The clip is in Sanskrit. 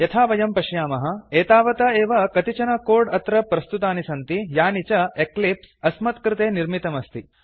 यथा वयं पश्यामः एतावता एव कतिचन कोड् अत्र प्रस्तुतानि सन्ति यानि च एक्लिप्स् अस्मत्कृते निर्मितमस्ति